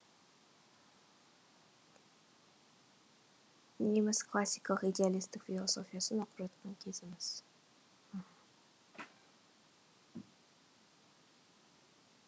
неміс классикалық идеалистік философиясын оқып жатқан кезіміз